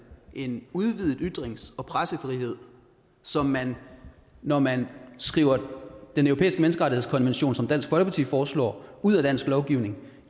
en udvidet ytrings og pressefrihed som man når man skriver den europæiske menneskerettighedskonvention som dansk folkeparti foreslår ud af dansk lovgivning